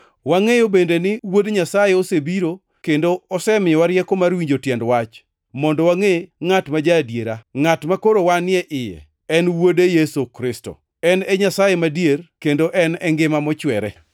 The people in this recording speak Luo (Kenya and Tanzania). Wangʼeyo bende ni Wuod Nyasaye osebiro kendo osemiyowa rieko mar winjo tiend wach, mondo wangʼe ngʼat ma ja-adiera, ngʼat makoro wanie iye, en wuode Yesu Kristo. En e Nyasaye madier kendo en e ngima mochwere.